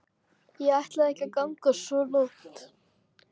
Ég ætlaði ekki að ganga svo langt.